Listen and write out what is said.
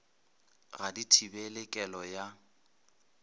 ga di thibele kelo ya